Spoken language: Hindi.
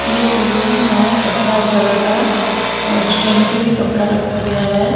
ये शोरूम है कपड़ा वगैरा का और स्टैंड पे भी कपड़ा रखा गया है।